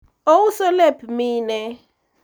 ouso lep mine